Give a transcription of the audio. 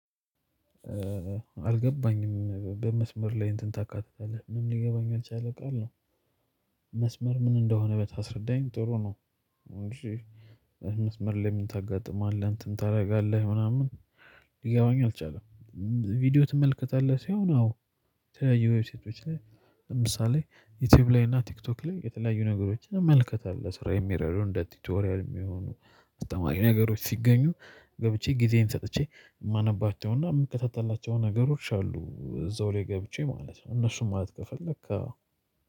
አልገባኝም በመስመር ላይ እንትን ታካትታለህ ምንም ሊገባኛ ያልቻለ ቃል ነው። ምን እንደሆነ ብታስረዳኝ ጥሩ ነው። እንጂ መስመር ላይ ምን ታጋጥማለህ እንትን ታደርጋለህ ምናምን ሊገባኝ አልቻለም። ቪዲዮ ትመልከታለህ ሲሆን አዎ የዌብሳይቶች ላይ ለምሳሌ ዩቲዩብ ላይ እና ቲክቶክ ላይ የተለያዩ ነገሮችን እመልከታል ለስራ የሚረዱ እንደ ቲቶሪያል የሚሆኑ አስተማሪ ነገሮች ሲገኙ ገብቼ ጊዜም ሰጥቼ የማነባቸውና የምከታተላቸው ነገሮች አሉ። እዛው ላይ ገብቼ ማለት ነው። እነሱን ማለት ከፈለክ ለካ